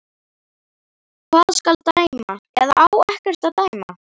Hvað skal dæma, eða á ekkert að dæma?